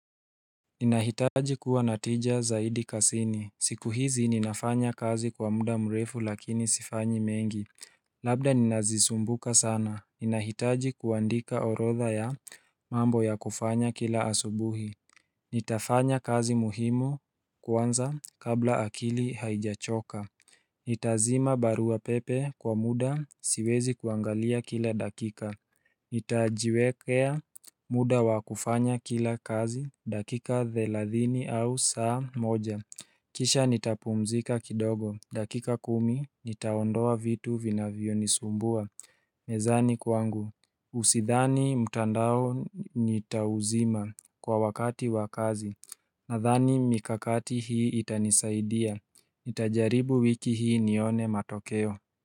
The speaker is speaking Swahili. Ninahitaji kuwa na tija zaidi kazini, siku hizi ninafanya kazi kwa muda mrefu lakini sifanyi mengi Labda ninazisumbuka sana, ninahitaji kuandika orodha ya mambo ya kufanya kila asubuhi Nitafanya kazi muhimu kwanza kabla akili haijachoka Nitazima barua pepe kwa muda siwezi kuangalia kila dakika Nitajiwekea muda wa kufanya kila kazi dakika thelathini au saa moja Kisha nitapumzika kidogo dakika kumi nitaondoa vitu vinavyonisumbua mezani kwangu Usidhani mtandao nitauzima kwa wakati wa kazi Nadhani mikakati hii itanisaidia Nitajaribu wiki hii nione matokeo.